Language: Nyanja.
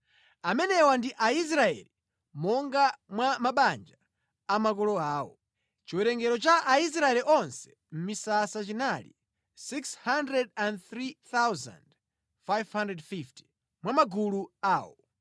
Amenewa ndi Aisraeli monga mwa mabanja a makolo awo. Chiwerengero cha Aisraeli onse mʼmisasa chinali 603,550, mwa magulu awo.